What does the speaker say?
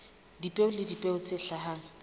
dipeo le dipeo tse hlahang